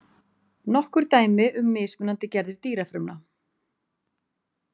Nokkur dæmi um mismunandi gerðir dýrafrumna.